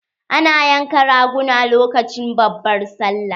Ana yanka raguna lokacin babbar sallah.